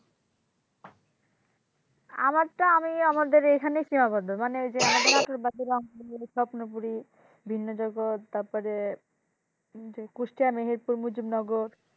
আমারটা আমি আমাদের এখানে কি অবস্থা মানে আমাদের ওই রংপুরি, স্বপ্নপুরি বিনোজগৎ তারপরে যে নগর,